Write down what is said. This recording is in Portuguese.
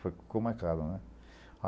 Foi com o Marcado, né?